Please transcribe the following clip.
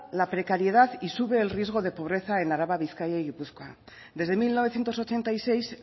la precariedad y sube el riesgo de pobreza en araba bizkaia y gipuzkoa desde mil novecientos ochenta y seis